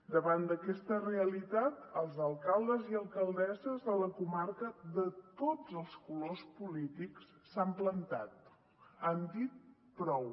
davant d’aquesta realitat els alcaldes i alcaldesses de la comarca de tots els colors polítics s’han plantat han dit prou